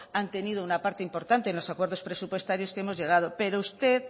han tenido una parte importante en los acuerdos presupuestarios que hemos llegado pero usted